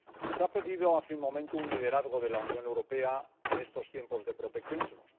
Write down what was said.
Se ha pedido, hace un momento, un liderazgo de la Unión Europea en estos tiempos de proteccionismos.